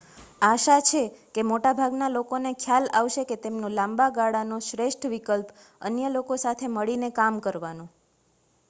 આશા છે કે મોટાભાગના લોકોને ખ્યાલ આવશે કે તેમનો લાંબાગાળાનો શ્રેષ્ઠ વિકલ્પ અન્ય લોકો સાથે મળીને કામ કરવાનો